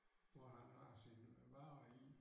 Hvor han har sine varer i